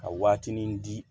Ka waatinin di